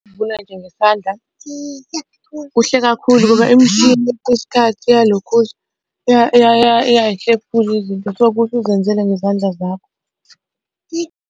Ukuvuna nje ngesandla kuhle kakhulu ngoba imishini kwesinye isikhathi iyalokhuza, iyay'hlephula izinto so, kuhle uzenzele ngezandla zakho.